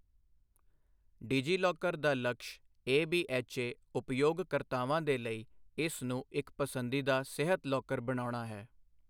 ਡਿਜੀਲੌਕਰ ਦਾ ਲਕਸ਼ ਏਬੀਐੱਚਏ ਉਪਯੋਗਕਰਤਾਵਾਂ ਦੇ ਲਈ ਇਸ ਨੂੰ ਇੱਕ ਪਸੰਦੀਦਾ ਸਿਹਤ ਲੌਕਰ ਬਣਾਉਣਾ ਹੈ।